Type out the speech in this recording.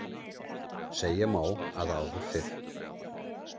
Segja má að áður fyrr.